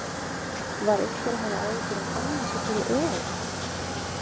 Var einhver að hafa áhyggjur af Hannesi fyrir EM?